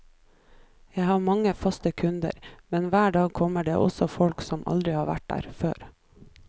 Jeg har mange faste kunder, men hver dag kommer det også folk som aldri har vært her før.